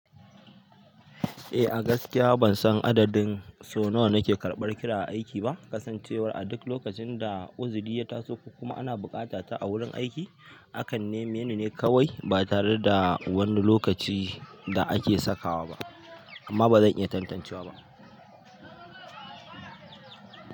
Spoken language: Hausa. Eh, a gaskiya ban san adadin sau nawa nake karɓar kira a aiki ba. Kasancewar a duk lokacin da uzuri ya taso koma kuma ana buƙata ta a wurin aiki, akan neme ni ne kawai ba tare da wani lokaci da ake sakawa ba, amma ba zan iya tantancewa ba.